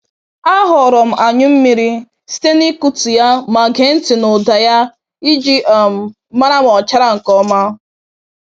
A ghọrọ m anyụ mmiri site n'ikụtụ ya ma gee ntị n'ụda ya iji um mara ma o chara nke ọma.